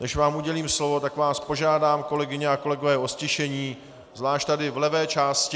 Než vám udělím slovo, tak vás požádám, kolegyně a kolegové, o ztišení, zvlášť tady v levé části.